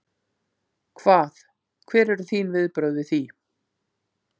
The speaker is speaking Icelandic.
Hvað, hver eru þín viðbrögð við því?